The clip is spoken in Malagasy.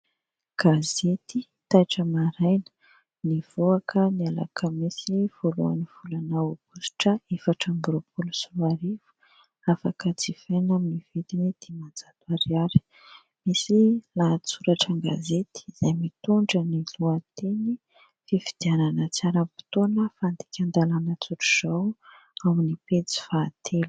Gazety taitra maraina nivoaka ny alakamisy voalohan'ny volana aogositra, efatra amby roapolo sy roa arivo, afaka jifaina amin'ny vidiny dimanjato ariary. Misy lahatsoratra an-gazety izay mitondra ny lohateny : "fifidianana tsy ara-potoana, fandikan-dalàna tsotra izao", ao amin'ny pejy fahatelo.